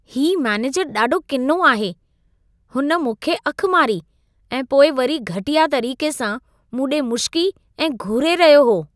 हीउ मेनेजर ॾाढो किनो आहे। हुन मूं खे अखि मारी ऐं पोइ वरी घटिया तरीक़े सां मूं ॾे मुशिकी ऐं घूरे रहियो हो।